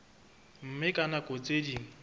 mme ka nako tse ding